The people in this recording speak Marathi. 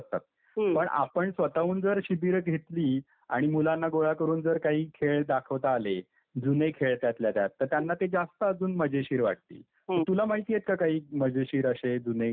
हम्म आपण जर स्वतःहून शिबिरा घेतली आणि मुलांना गोळा करून जर काही खेळ दाखवता आले जुने खेळ त्यातले त्यात तर त्यांना अजून ते जास्त मजेशीर वाटेल तुला माहितीये का काही मजेशीर असे जुने खेळ.